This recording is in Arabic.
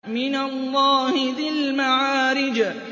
مِّنَ اللَّهِ ذِي الْمَعَارِجِ